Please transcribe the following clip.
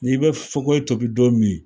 Ni be fakoyi tobi don min.